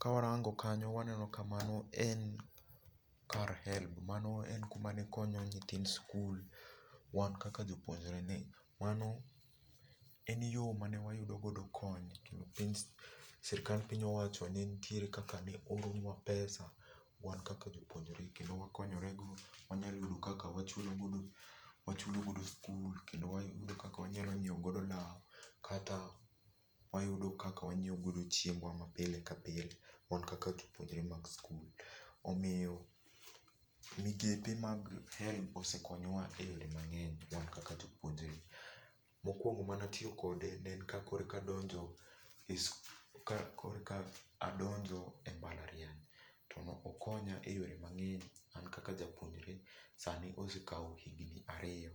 Ka warango kanyo waneno ka mano en kar HELB. Mano en kuma ne konyo nyithind sikul, wan kaka jopuonjre ni. Mano en yo mane wayudo godo kony, kendo piny sirkal piny owacho ne nitiere kaka ne oro nwa pesa wan kaka jopuonjre kendo wakonyore go, wanyalo yudo kaka wachulo godo, wachulo godo skul, kendo wayudo kaka wanyalo nyiewo godo law, kata wayudo kaka wanyiewo godo chiembwa ma pile ka pile wan kaka jopuonjre mag skul. Omiyo migepe mag HELB osekonyo wa e yore mang'eny wan kaka jopuonjre. Mokuongo mane atiyo kode, ne en ka korka adonjo e skul, ka korka adonjo e mbalariany. To okonya e yore mang'eny an kaka japuonjre, sani osekawo higni ariyo,